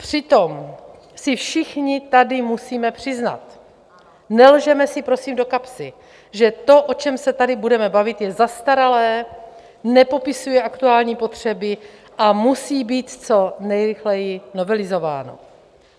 Přitom si všichni tady musíme přiznat: Nelžeme si, prosím, do kapsy, že to, o čem se tady budeme bavit, je zastaralé, nepopisuje aktuální potřeby a musí být co nejrychleji novelizováno.